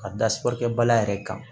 Ka da sukɔrikɛ ba la yɛrɛ kan